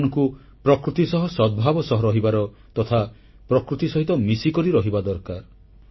ଆମମାନଙ୍କୁ ପ୍ରକୃତି ସହ ସଦ୍ଭାବ କରି ରହିବାର ତଥା ପ୍ରକୃତି ସହିତ ମିଶିକରି ରହିବା ଦରକାର